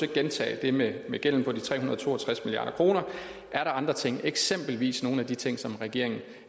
at gentage det med med gælden på de tre hundrede og to og tres milliard kroner er der andre ting eksempelvis nogle af de ting som regeringen